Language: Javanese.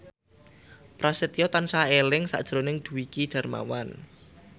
Prasetyo tansah eling sakjroning Dwiki Darmawan